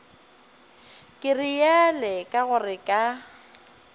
ke realo ka gore ka